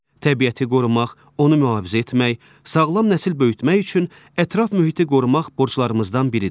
Təbiəti qorumaq, onu mühafizə etmək, sağlam nəsil böyütmək üçün ətraf mühiti qorumaq borclarımızdan biridir.